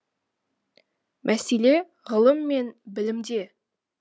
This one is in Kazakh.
мәселе ғылым мен білімде